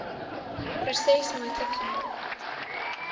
proses moontlik gemaak